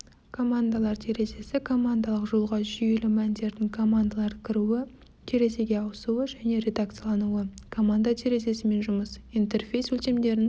командалар терезесі командалық жолға жүйелі мәндердің командалар кіруі терезеге ауысуы және редакциялануы команда терезесімен жұмыс интерфейс өлшемдерін